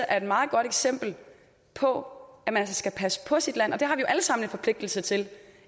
er et meget godt eksempel på at man altså skal passe på sit land og det har vi jo alle sammen en forpligtelse til